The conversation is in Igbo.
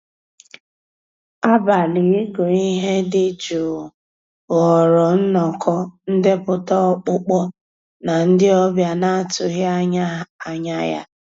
Àbàlí ị́gụ́ íhé dị́ jụ́ụ́ ghọ́ọ́rà nnọ́kọ́ ndépụ́tà ọ́kpụ́kpọ́ ná ndị́ ọ̀bịá ná-àtụ́ghị́ ànyá yá.